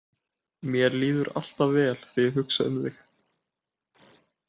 Mér líður alltaf vel þegar ég hugsa um þig.